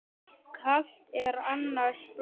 Kalt er annars blóð.